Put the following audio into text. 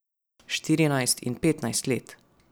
Štirinajst in petnajst let.